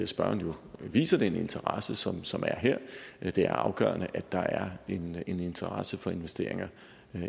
spørgeren jo viser den interesse som som er her det er afgørende at der er en interesse for investeringer